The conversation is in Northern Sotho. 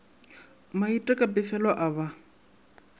maite ka pefelo a ba